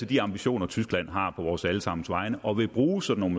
de ambitioner tyskland har på vores alle sammens vegne og vil bruge sådan